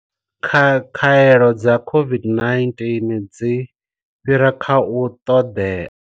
Khaelo dza COVID-19 dzi fhira kha u ṱoḓea.